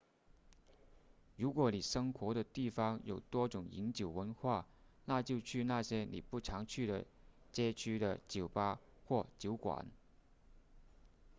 如果你生活的城市有多种饮酒文化那就去那些你不常去的街区的酒吧或酒馆